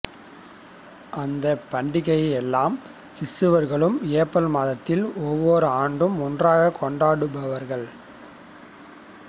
அந்த பண்டிகையை எல்லா கிறிஸ்தவர்களும் ஏப்ரல் மாதத்தில் ஒவ்வொரு ஆண்டும் ஒன்றாகக் கொண்டாடப்படுவார்கள்